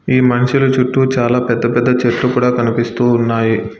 ఈ మనుషులు చుట్టూ చాలా పెద్ద పెద్ద చెట్లు కూడా కనిపిస్తూ ఉన్నాయి.